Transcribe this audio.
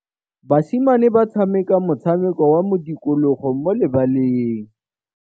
Basimane ba tshameka motshameko wa modikologô mo lebaleng.